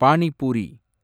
pani puri